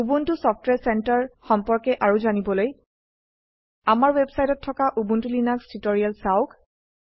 Ubuntu software centre সম্পৰ্কে আৰু জানিবলৈ আমাৰ ওয়েবসাইটত থকা উবুন্টু লিনাক্স টিউটোৰিয়েল চাওক